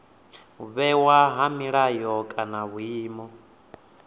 vhewa ha milayo kana vhuimo